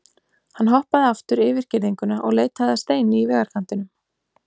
Hann hoppaði aftur yfir girðinguna og leitaði að steini í vegarkantinum.